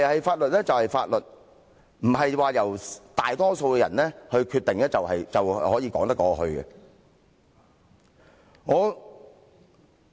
法律就是法律，不是由大多數人作決定便說得過去。